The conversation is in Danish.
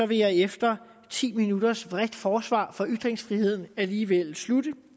jeg efter ti minutters bredt forsvar for ytringsfriheden alligevel slutte